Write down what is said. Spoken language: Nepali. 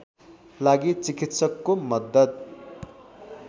लागि चिकित्सकको मद्दत